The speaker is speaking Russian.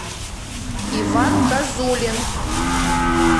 иван козулин